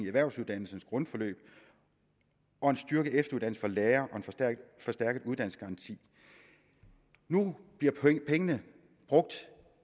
erhvervsuddannelsens grundforløb og en styrket efteruddannelse for lærer og en forstærket uddannelsesgaranti nu bliver pengene brugt